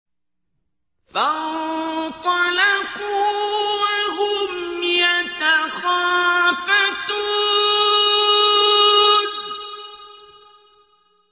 فَانطَلَقُوا وَهُمْ يَتَخَافَتُونَ